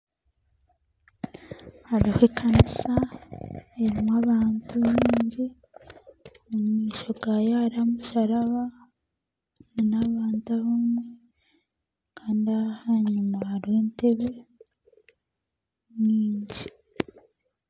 Hariho ekanisa erimu abantu baingi omumaisho hariho omusharaba nabantu abamwe Kandi ahanyima hariyo entebe ninkye